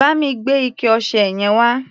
Bá mi gbé ike-ọṣẹ yẹn wá.